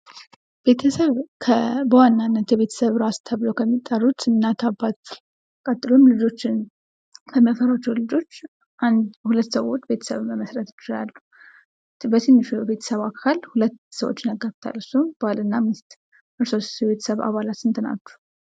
ቤተሰብ በዋናነት የቤተሰብ ራስ ተብለው ከሚጠሩት እናት አባት ቀጥሎም ልጆችን ከሚያፈሯቸው ልጆች አንድ ሁለት ሰዎች ቤተሰብን መመሥረት ይችላሉ። በትንሹ ቤተሰብ አካል 2 ሰዎችን ያካይታል እሱም ባልና ሚስት እርሶስ የቤተሰብ አባላት ስንት ናችሁ?